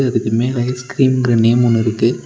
அதுக்கு மேல ஐஸ்கிரீம்ங்குற நேம் ஒன்னுருக்கு.